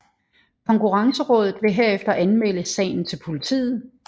Konkurrencerådet vil herefter anmelde sagen til politiet